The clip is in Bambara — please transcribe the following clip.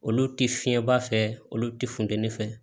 Olu ti fiɲɛba fɛ olu ti funteni fɛ